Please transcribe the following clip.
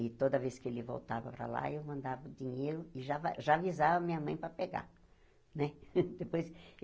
E toda vez que ele voltava para lá, eu mandava o dinheiro e já va já avisava a minha mãe para pegar né. Depois